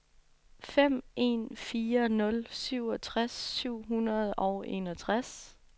fem en fire nul syvogtres syv hundrede og enogtres